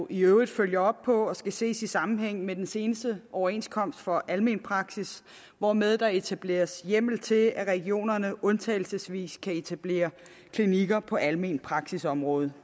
i øvrigt følger op på og skal ses i sammenhæng med den seneste overenskomst for almen praksis hvormed der etableres hjemmel til at regionerne undtagelsesvis kan etablere klinikker på almenpraksisområdet